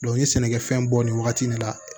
n ye sɛnɛkɛfɛn bɔ nin wagati nin la